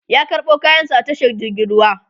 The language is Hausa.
ya karɓo kayan sa a tashar jirgin ruwa